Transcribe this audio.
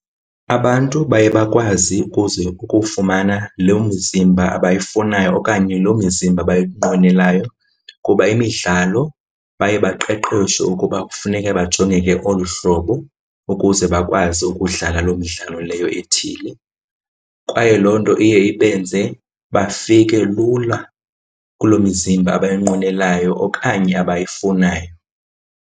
Abantu baye bakwazi kuza ukufumana loo mizimba abayifunayo okanye loo mzimba bayinqwenelayo kuba imidlalo baye baqeqeshwe ukuba kufuneke bajongeke olu hlobo ukuze bakwazi ukudlala loo midlalo leyo ethile. Kwaye loo nto iye ibenze bafike lula kuloo mizimba abayinqwenelayo okanye abayifunayo.